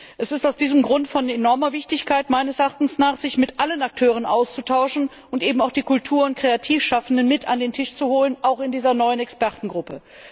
Es ist aus diesem Grunde von enormer Wichtigkeit, sich mit allen Akteuren auszutauschen und eben auch die Kultur und Kreativschaffenden mit an den Tisch zu holen, auch in dieser neuen Expertengruppe.